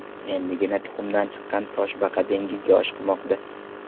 Endigina tuxumdan chiqqan toshbaqa dengizga oshiqmoqda.